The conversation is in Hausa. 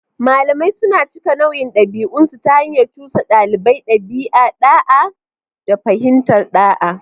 Malamai suna cika nauyin ɗabi'unsu ta hanyar cusa ɗalibai ɗabi'u, da'a, da fahimtar ɗa'a.